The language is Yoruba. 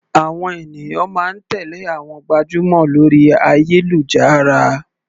Àwọn ènìyàn máa ń tèlé àwọn gbajúmọ̀ lórí ayélujára.